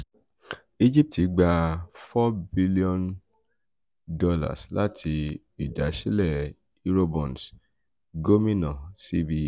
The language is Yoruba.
egipti gba $ um four bilionu lati idasilẹ um eurobonds - gomina cbe